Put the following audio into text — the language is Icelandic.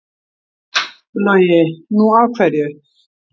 Logi: Nú af hverju?